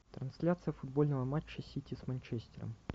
трансляция футбольного матча сити с манчестером